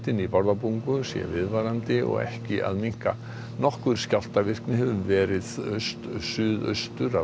viðvarandi og ekki að minnka nokkur skjálftavirkni hefur verið suðaustur af Bárðarbungu í dag